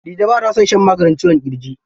Dije ba ta son shan maganin ciwon ƙirji.